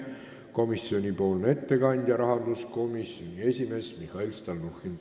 Komisjoni ettekandja on rahanduskomisjoni esimees Mihhail Stalnuhhin.